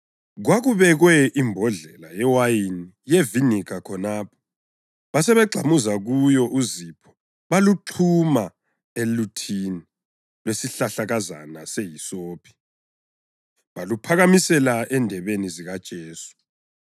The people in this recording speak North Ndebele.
Kwakubekwe imbodlela yewayini yeviniga khonapho, basebegxamuza kuyo uzipho baluxhuma eluthini lwesihlahlakazana sehisophi, baluphakamisela endebeni zikaJesu.